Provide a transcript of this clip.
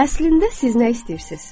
Əslində siz nə istəyirsiniz?